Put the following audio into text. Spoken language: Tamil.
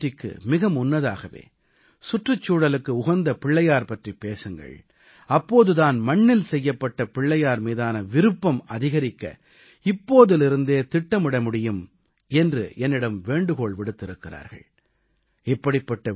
நீங்கள் பிள்ளையார் சதுர்த்திக்கு மிக முன்னதாகவே சுற்றுச்சூழலுக்கு உகந்த பிள்ளையார் பற்றிப் பேசுங்கள் அப்போது தான் மண்ணில் செய்யப்பட்ட பிள்ளையார் மீதான விருப்பம் அதிகரிக்க இப்போதிலிருந்தே திட்டமிட முடியும் என்று என்னிடம் வேண்டுகோள் விடுத்திருக்கிறார்கள்